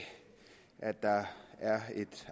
at der er et